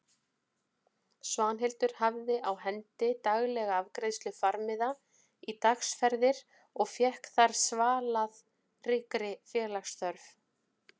Svanhildur hafði á hendi daglega afgreiðslu farmiða í dagsferðir og fékk þar svalað ríkri félagsþörf.